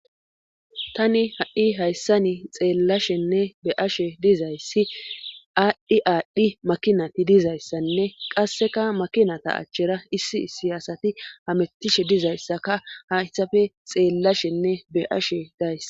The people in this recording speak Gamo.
Tani ha7i hayssani xeellashenne be ashe dizayssi aadhdhi aadhdhi makinati dizayssanne qasseka makinata achchera issi siyasati hamettishe dizayssaka hayssafe xeellashenne be ashe daysa